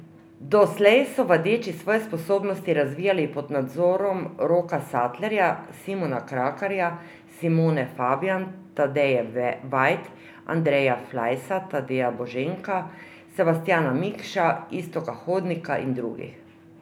Doslej so vadeči svoje sposobnosti razvijali pod nadzorom Roka Satlerja, Simona Krakarja, Simone Fabjan, Tadeje Veit, Andreja Flajsa, Tadeja Boženka, Sebastjana Mikše, Iztoka Hodnika in drugih.